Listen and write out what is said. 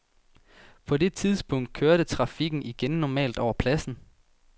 På det tidspunkt kørte trafikken igen normalt over pladsen.